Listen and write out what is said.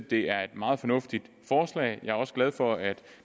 det er et meget fornuftigt forslag jeg er også glad for at